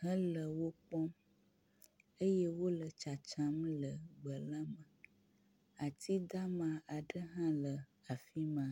hele wo kpɔm eye wo le tsatsam le gbe la me. Atidama aɖe hã le afi ma.